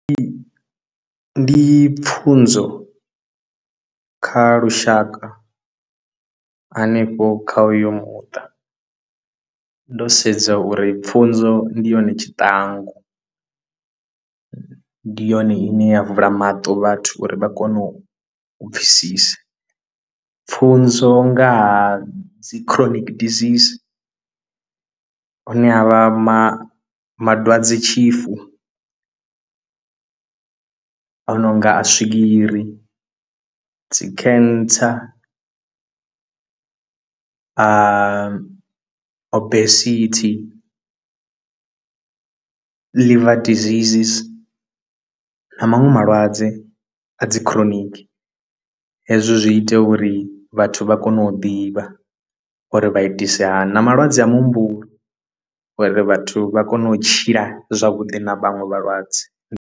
Ndi ndi pfhunzo kha lushaka hanefho kha uyo muṱa ndo sedza uri pfhunzo ndi yone tshiṱangu ndi yone ine ya vula maṱo vhathu uri vha kone u pfhesesa pfhunzo nga ha dzi chronic diseases hune havha ma ma dwadzetshifu a no nga a swigiri dzi cancer obesity liver disease na maṅwe malwadze a dzi chronic hezwo zwi ita uri vhathu vha kone u ḓivha uri vha itise hani na malwadze a muhumbulo uri vhathu vha kone u tshila zwavhuḓi na vhaṅwe vhalwadze.